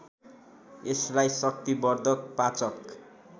यसलाई शक्तिवर्धक पाचक